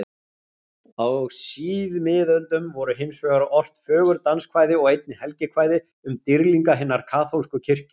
Á síðmiðöldum voru hinsvegar ort fögur danskvæði og einnig helgikvæði um dýrlinga hinnar kaþólsku kirkju.